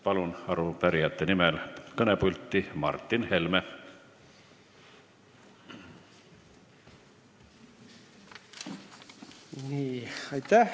Palun arupärijate nimel kõnepulti rääkima Martin Helme!